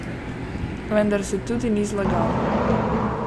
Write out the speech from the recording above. Vendar se tudi ni zlagal.